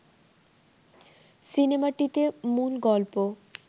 সিনেমাটিতে মূল গল্প